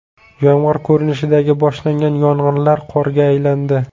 Yomg‘ir ko‘rinishida boshlangan yog‘inlar qorga aylandi.